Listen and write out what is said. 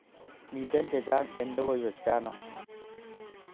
Miten che chang en lokoiwek chano